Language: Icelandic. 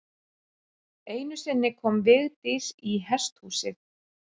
Einu sinni kom Vigdís í hesthúsið.